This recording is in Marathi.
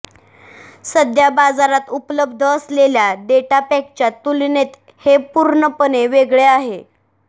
सध्या बाजारात उपलब्ध असलेल्या डेटा पॅकच्या तुलनेत हे पू्र्णपणे वेगळे आहे